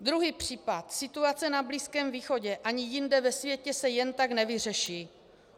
Druhý případ - situace na Blízkém východě ani jinde ve světě se jen tak nevyřeší.